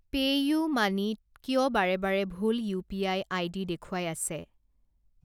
PayUmoney ত কিয় বাৰে বাৰে ভুল ইউ পি আই আইডি দেখুৱাই আছে?